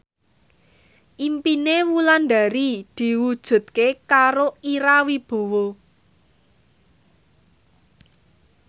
impine Wulandari diwujudke karo Ira Wibowo